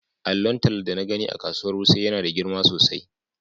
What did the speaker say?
Allon talla da na gani a kasuwar wuse yana da girma sosai.